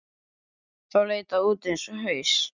Þá leit það út eins og haus.